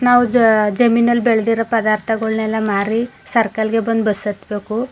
ನಾವು ಜ ಜಮೀನಲ್ಲಿ ಬೆಳೆದಿರುವ ಪದಾರ್ಥಗುಳನ್ನ ಮಾರಿ ಸರ್ಕಲ್ ಗೆ ಬಂದು ಬಸ್ ಹತ್ತಬೇಕು.